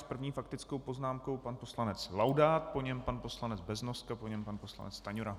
S první faktickou poznámkou pan poslanec Laudát, po něm pan poslanec Beznoska, po něm pan poslanec Stanjura.